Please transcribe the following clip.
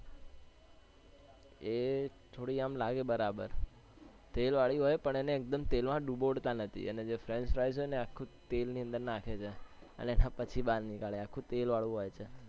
એ થોડી આમ લાગે બરાબર તેલ વાલી હોય પણ એને એક્દમ તેલ માં દુબોળતાં નથી અને જે friench fries છે ને એને આખા તેલ ની અંદર નાખે છે અને પછી બહાર નીકળે છે આખું તેલ વાળું હોય છે